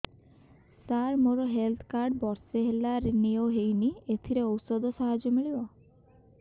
ସାର ମୋର health card ବର୍ଷେ ହେଲା ରିନିଓ ହେଇନି ଏଥିରେ ଔଷଧ ସାହାଯ୍ୟ ମିଳିବ